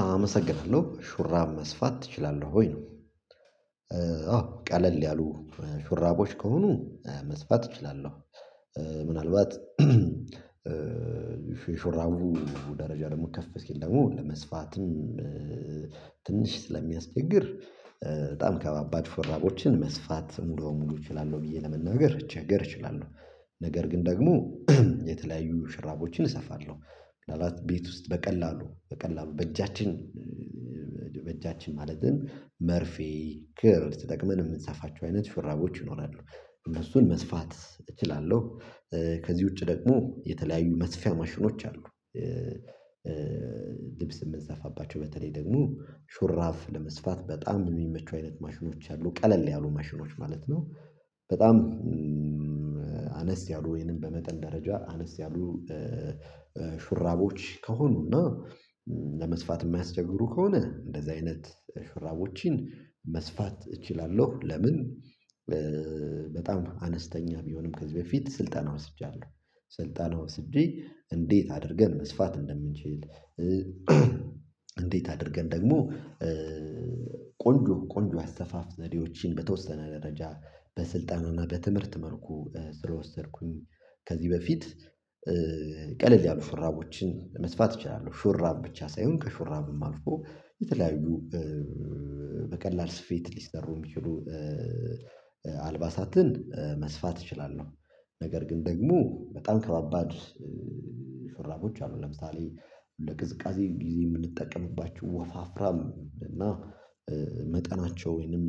አመሰግናለሁ ሹራብ መስፋት ትችላለህ ወይ ነው? አዎ ቀለል ያሉ ሹራቦች ከሆኑ መስፋት እችላለሁ ምናልባት ሹራቡ ደረጃ ደግሞ ከፍ ሲል ደግሞ እንደ መስፋትም ትንሽ ስለሚያስቸግር በጣም ከባባድ ሹራቦችን መስፋት ሙሉ ሙሉ እችላለሁ ብዬ ለመነገር ልቸገር እችላለሁ ነገር ግን ደግሞ የተለያዩ ሽራቦችን እሰፋለሁ ምናልባት ቤት ውስጥ በቀላሉ በቀላሉ በእጃችን በእጃችን ማለትም መርፌ ክር ተጠቅመን የምንሰፋቸው አይነት ሹራቦች ይኖራሉ እነሱን መስፋት እችላለሁ። ከዚህ ውጪ ደግሞ የተለያዩ መስፊያ ማሽኖች አሉ። ልብስ የምንሰፋባቸው በተለይ ደግሞ ሽራብ ለመስፋት በጣም የሚመቹ አይነት ማሽኖች አሉ ቀለል ያሉ ማሽኖች ማለት ነው። በጣም አነስ ያሉ ወይንም በመጠን ደረጃ አነስ ያሉ ሹራቦች ከሆኑና ለመስፋት የማያስቸግሩ ከሆነ እንደዚህ አይነት ሽራቦችን መስፋት እችላለሁ። ለምን በጣም አነስተኛ ቢሆንም ከዚህ በፊት ስልጠና ወስጃለሁ ስልጠና ወስጄ እንዴት አድርገን መስፋት እንደምንችል። እንዴት አድርገን ደግሞ ቆንጆ ቆንጆ አሰፋፍ ዘዴዎችን በተወሰነ ደረጃ በስልጠናና በትምህርት መልኩ ስለወሰድኩኝ ከዚህ በፊት ቀለል ያሉ ሹራቦችን መስፋት እችላለሁ። ሹራብ ብቻ ሳይሆን ከሹራብም አልፎ የተለያዩ በቀላል ስፌት ሊሰሩ የሚችሉ አልባሳትን መስፋት እችላለሁ። ነገር ግን ደግሞ በጣም ከባባድ ሹራቦች አሉ ለምሳሌ ለቅዝቃዜ ጊዜ የምንጠቀምባችው ወፋፍራም እና መጠናቸው ወይንም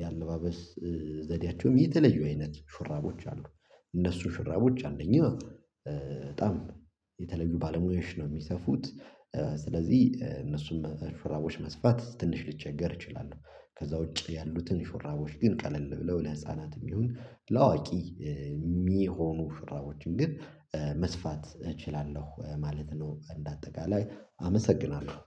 የአለባበስ ዘዴያቸውም የተለዩ አይነት ሹራቦች አሉ። እነሱ ሽራቦች አንደኛ በጣም የተለዩ ባለሙያዎች ነው የሚሰፉት ስለዚህ እነሱን መሰል ሹራቦች መስፋት ትንሽ ልቸገር እችላለሁ። ከዛ ውጪ ያሉትን ሹራቦች ግን ቀለል ብለው ለህፃናትም ይሁን ለአዋቂ የሚሆኑ ሹራቦችን ግን መስፋት እችላለሁ ማለት ነው። እንደ አጠቃላይ አመሰግናለሁ